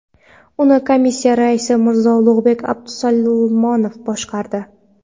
Uni komissiya raisi Mirzo Ulug‘bek Abdusalomov boshqardi.